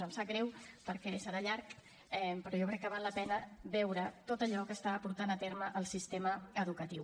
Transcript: em sap greu perquè serà llarg però jo crec que val la pena veure tot allò que està portant a terme el sistema educatiu